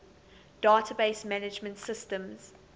database management systems